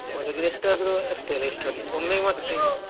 ಹೊರಗೆ ಎಷ್ಟ್ ಆದ್ರೂ ಅಷ್ಟೇ ಅಲ್ಲ ಎಷ್ಟ್ ಆದ್ರೂ ಒಮ್ಮೆಗೆ ಮಾತ್ರ taste .